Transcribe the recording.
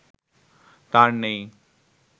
তার নেই